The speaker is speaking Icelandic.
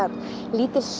lítil